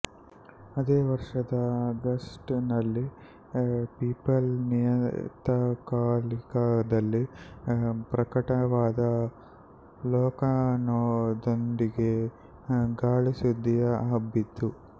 ಅದೇ ವರ್ಷದ ಆಗಸ್ಟ್ ನಲ್ಲಿ ಪೀಪಲ್ ನಿಯತಕಾಲಿಕದಲ್ಲಿ ಪ್ರಕಟವಾದ ಲೇಖನದೊಂದಿಗೆ ಗಾಳಿಸುದ್ದಿಯು ಹಬ್ಬಿತು